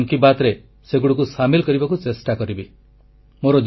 ମୁଁ ଆଗାମୀ ମନ୍ କି ବାତ୍ରେ ସେଗୁଡ଼ିକୁ ସାମିଲ କରିବାକୁ ଚେଷ୍ଟା କରିବି